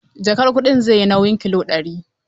Jakar kuɗin zai yi nauyin kilo ɗari.